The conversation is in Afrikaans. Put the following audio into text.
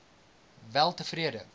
weltevrede